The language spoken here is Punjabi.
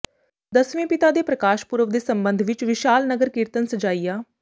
ਦਸਵੇਂ ਪਿਤਾ ਦੇ ਪ੍ਰਕਾਸ਼ ਪੁਰਬ ਦੇ ਸਬੰਧ ਵਿਚ ਵਿਸ਼ਾਲ ਨਗਰ ਕੀਰਤਨ ਸਜਾਇਆ